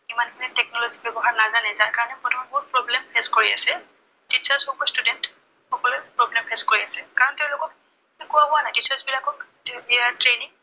মানুহে technology ৰ ব্যৱহাৰ নাজানে, যাৰ কাৰনে বৰ্তমান বহুত problem face কৰি আছে। teachers হওঁক বা students সকলোৱে problem face কৰি আছে। কাৰণ তেওঁলোকক শিকোৱা হোৱা নাই। teachers বিলাকক training